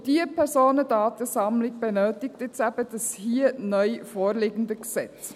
Und diese Personendatensammlung benötigt eben dieses neu vorliegende Gesetz.